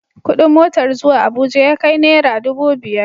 Kuɗin motar zuwa Abuja ya kai nara dubu biyar.